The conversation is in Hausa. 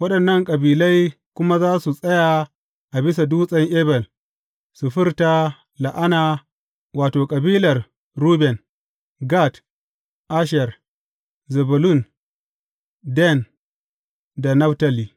Waɗannan kabilai kuma za su tsaya a bisa Dutsen Ebal su furta la’ana, wato, kabilar Ruben, Gad, Asher, Zebulun, Dan da Naftali.